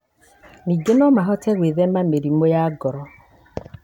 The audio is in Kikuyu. Ningĩ no mahote gwĩthema mĩrimũ ya ngoro.